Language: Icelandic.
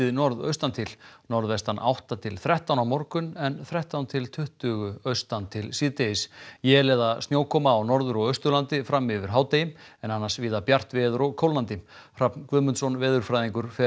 norðaustan til norðvestan átta til þrettán á morgun en þrettán til tuttugu austan til síðdegis él eða snjókoma á Norður og Austurlandi fram yfir hádegi en annars víða bjart veður og kólnandi Hrafn Guðmundsson veðurfræðingur fer